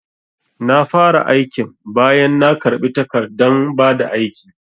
Na fara aikin bayan na karbi takardan bada aiki